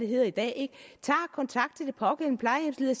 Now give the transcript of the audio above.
hedder i dag tager kontakt til den pågældende plejehjemsleder